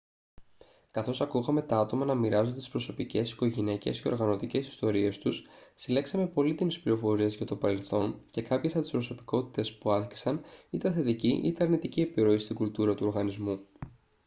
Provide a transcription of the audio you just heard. καθώς ακούγαμε τα άτομα να μοιράζονται τις προσωπικές οικογενειακές και οργανωτικές ιστορίες τους συλλέξαμε πολύτιμες πληροφορίες για το παρελθόν και κάποιες από τις προσωπικότητες που άσκησαν είτε θετική είτε αρνητική επιρροή στην κουλτούρα του οργανισμού